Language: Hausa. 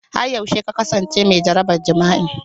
Har yaushe ka kasance mai jaraban jima'i?